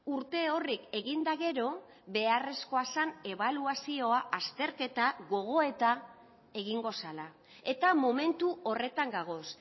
urte horrek egin eta gero beharrezkoa zen ebaluazioa azterketa gogoeta egingo zela eta momentu horretan gagoz